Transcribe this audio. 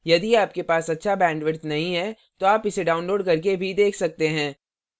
यदि आपके पास अच्छा bandwidth नहीं है तो आप इसे download करके देख सकते हैं